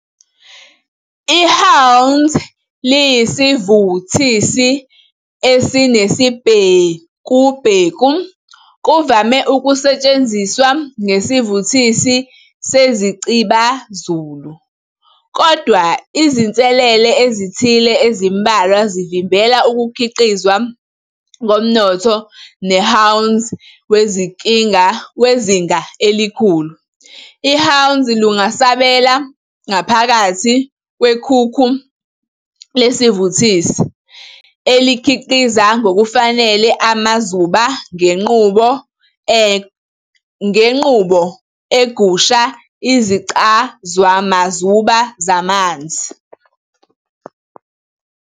IHwanzi liyisivuthisi esinesibhekubheku, kuvame ukusetshenziswa njengesivuthisi sezicibazulu, kodwa izinselele ezithile ezimbalwa zivimbela ukukhiqizwa komnotho wehwanzi wezinga elikhulu. IHwanzi lungasabela ngaphakathi kwekhukhu lesivuthisi, elikhiqiza ngokufanele amazuba ngenqubo egusha isiCazwamazuba samanzi.